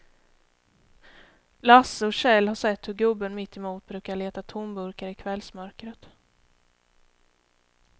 Lasse och Kjell har sett hur gubben mittemot brukar leta tomburkar i kvällsmörkret.